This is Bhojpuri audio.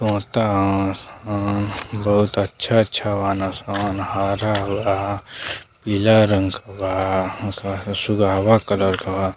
कुर्ता ह अ बहुत अच्छा-अच्छा वाना स हारा लाल पीला रंग का बा. हवा सुघावा कलर का बा।